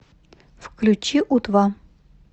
включи у два